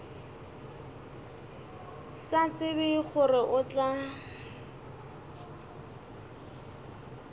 sa tsebe gore o tla